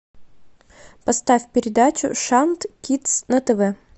поставь передачу шант кидс на тв